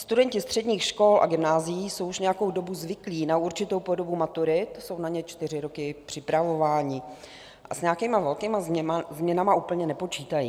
Studenti středních škol a gymnázií jsou už nějakou dobu zvyklí na určitou podobu maturit, jsou na ně čtyři roky připravováni a s nějakými velkými změnami úplně nepočítají.